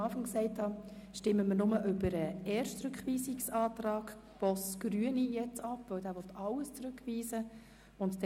Wie zu Beginn erwähnt, stimmen wir nur über den ersten Rückweisungsantrag Boss, Grüne, ab, weil dieser Antrag alles zurückweisen will.